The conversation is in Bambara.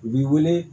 U b'i wele